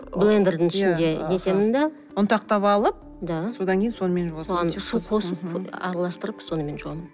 блендердің ішінде нетемін да ұнтақтап алып да содан кейін сонымен жуасыз соған су қосып араластырып сонымен жуамын